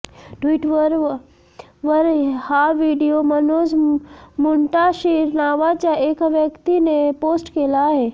Twitter वर हा video Manoj Muntashir नावाच्या एका व्यक्तीने पोस्ट केला आहे